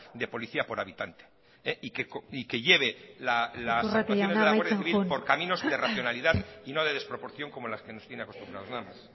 de policía por habitante y que lleve las actuaciones de la guardia civil iturrate jauna amaitzen joan por caminos de racionalidad y no de desproporción como las que nos tiene acostumbrados nada más